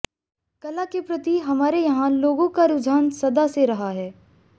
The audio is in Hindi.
कला के प्रति हमारे यहां लोगों का रुझान सदा से रहा है